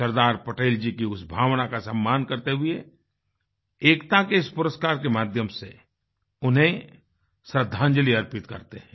सरदार पटेल जी की उस भावना का सम्मान करते हुए एकता के इस पुरस्कार के माध्यम से उन्हें श्रद्धांजलि अर्पित करते हैं